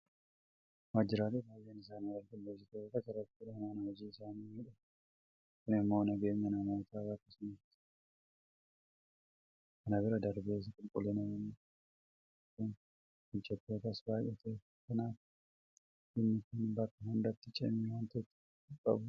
Waajjiraaleen baay'een isaanii qulqulleessituu qacarachuudhaan mana hojii isaanii miidhakfatu. Kun immoo nageenya namoota bakka sana keessa hojjetanii eeguu danda'eera. Kana bira darbees qulqullinni yeroo jiraatu gammachuun hojjettootaas baay'ateera. Kanaaf dhimmi kun bakka hundatti cimee waanta itti fufuu qabudha.